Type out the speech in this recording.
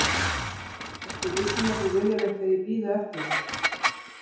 ertu viss um að þú viljir ekki að ég bíði eftir þér?